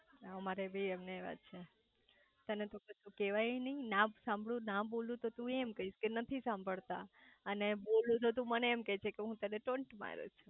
અમારે બી એમને એવા છે તને તો કશુ કેવાયે નાઈ ના સાંભળું ના બોલી તો તું એમ કૈઇસ કે નથી સાંભળતા અને બોલું તો તું મને એમ કે છે કે ટોન્ટ મારો છો